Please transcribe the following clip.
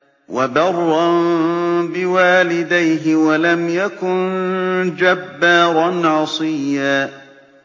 وَبَرًّا بِوَالِدَيْهِ وَلَمْ يَكُن جَبَّارًا عَصِيًّا